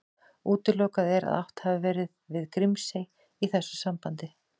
Útilokað er að átt hafi verið við Grímsey í þessu sambandi.